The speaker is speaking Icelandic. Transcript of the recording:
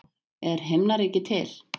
Er himnaríki til?